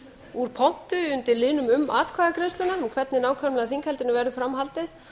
úr pontu undir liðnum um atkvæðagreiðsluna um hvernig nákvæmlega þinghaldinu verður fram haldið